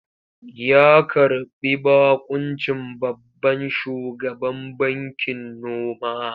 Ya karɓi baƙuncin babban shugaban bankin noma.